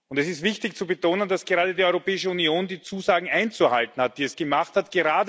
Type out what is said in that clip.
Es ist wichtig zu betonen, dass gerade die Europäische Union die Zusagen einzuhalten hat, die sie gemacht hat.